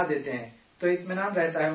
تو اطمینان رہتا ہے ان لوگوں کو